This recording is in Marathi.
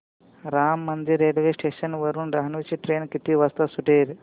राम मंदिर रेल्वे स्टेशन वरुन डहाणू ची ट्रेन किती वाजता सुटेल